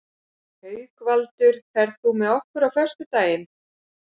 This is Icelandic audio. Haukvaldur, ferð þú með okkur á föstudaginn?